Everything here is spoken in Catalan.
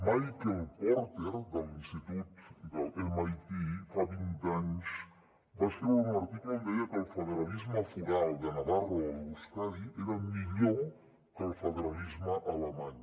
michael porter de l’institut de l’mit fa vint anys va escriure un article on deia que el federalisme foral de navarra o euskadi era millor que el federalisme alemany